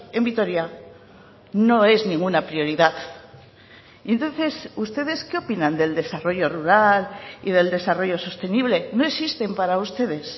en vitoria no es ninguna prioridad entonces ustedes que opinan del desarrollo rural y del desarrollo sostenible no existen para ustedes